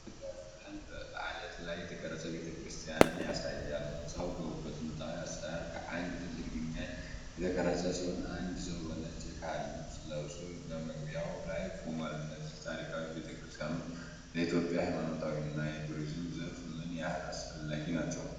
ይህ ምስል የላሊበላን በአለት ላይ የተቀረጸ ቤተክርስቲያን ያሳያል። ሕንፃው በጥንታዊ አሠራር ከአንድ ትልቅ ድንጋይ የተቀረጸ ሲሆን፣ አንድ ሰው በነጭ የካህን ልብስ ለብሶ በመግቢያው ላይ ቆሟል። እነዚህ ታሪካዊ ቤተክርስቲያኖች ለኢትዮጵያ ሃይማኖታዊና የቱሪዝም ዘርፍ ምን ያህል አስፈላጊ ናቸው?